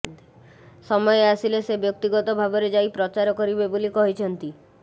ସମୟ ଆସିଲେ ସେ ବ୍ୟକ୍ତିଗତ ଭାବେ ଯାଇ ପ୍ରଚାର କରିବେ ବୋଲି କହିଛନ୍ତି